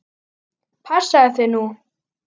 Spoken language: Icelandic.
Passaðu þig nú!